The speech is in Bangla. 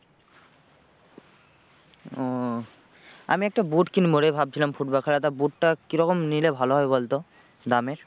ও আমি একটা boot কিনবো রে ভাবছিলাম football খেলাটা boot টা কি রকম নিলে ভালো হয় বলতো দামের?